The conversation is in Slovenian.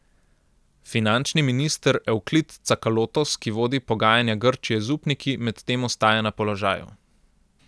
Finančni minister Evklid Cakalotos, ki vodi pogajanja Grčije z upniki, medtem ostaja na položaju.